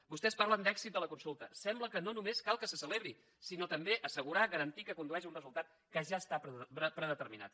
vostès parlen d’èxit de la consulta sembla que no només cal que se celebri sinó també assegurar garantir que condueix a un resultat que ja està predeterminat